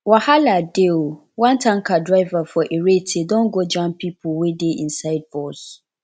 wahala dey o one tanker driver for irete don go jam pipo wey dey inside bus